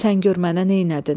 Sən gör mənə neylədin?